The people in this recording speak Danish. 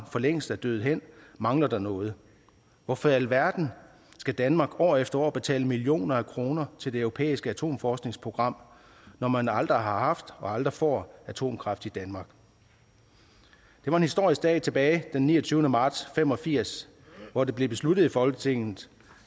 forlængst er døet hen mangler der noget hvorfor i alverden skal danmark år efter år betale millioner af kroner til det europæiske atomforskningsprogram når man aldrig har haft og aldrig får atomkraft i danmark det var en historisk dag tilbage den niogtyvende marts fem og firs hvor det blev besluttet i folketinget